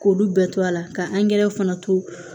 K'olu bɛɛ to a la ka fana to